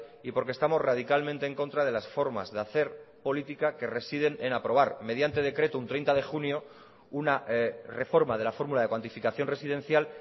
y porque estamos radicalmente en contra de las formas de hacer política que residen en aprobar mediante decreto un treinta de junio una reforma de la fórmula de cuantificación residencial